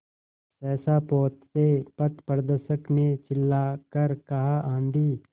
सहसा पोत से पथप्रदर्शक ने चिल्लाकर कहा आँधी